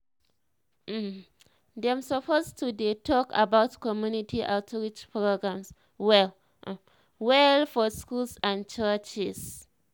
um dem suppose to de talk about community outreach programs well um well for schools and churches.